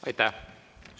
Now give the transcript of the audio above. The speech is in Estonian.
Aitäh!